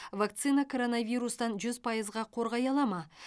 вакцина коронавирустан жүз пайызға қорғай ала ма